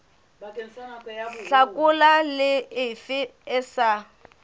hlakola le efe e sa